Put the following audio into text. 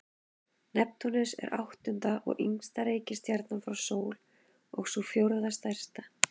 Neptúnus er áttunda og ysta reikistjarnan frá sól og sú fjórða stærsta.